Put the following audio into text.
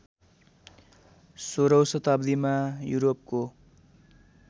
सोह्रौँ शताब्दीमा युरोपको